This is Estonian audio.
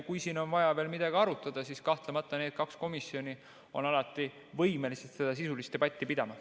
Kui siin on vaja veel midagi arutada, siis kahtlemata need kaks komisjoni on alati võimelised seda sisulist debatti pidama.